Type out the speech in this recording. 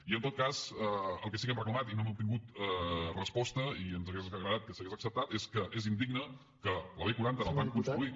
i en tot cas el que sí que hem reclamat i no hem obtingut resposta i ens hauria agradat que s’hagués acceptat és que és indigne que la b quaranta en el tram construït